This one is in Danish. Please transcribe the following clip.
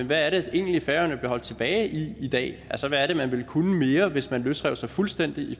hvad det egentlig er færøerne bliver holdt tilbage i i dag altså hvad det er man ville kunne mere hvis man løsrev sig fuldstændig i